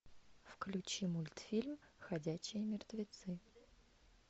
включи мультфильм ходячие мертвецы